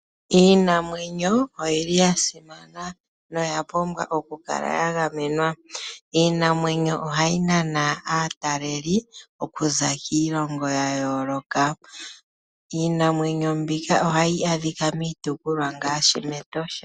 Iinamwenyo oyili yasimana noya pumbwa okukala yagamenwa . Iinamwenyo ohayi nana aataleli okuza kiilongo yayooloka. Iinamwenyo mbika ohayi adhika miitopolwa ngaashi mEtosha.